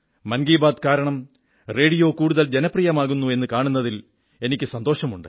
മൻ കീ ബാത് കാരണം റേഡിയോ കൂടുതൽ ജനപ്രിയമാകുന്നു എന്നു കാണുന്നതിൽ എനിക്കു സന്തോഷമുണ്ട്